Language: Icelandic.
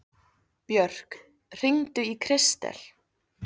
Björk, hringdu í Kristel.